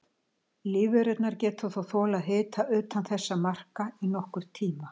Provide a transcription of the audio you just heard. Lífverurnar geta þó þolað hita utan þessara marka í nokkurn tíma.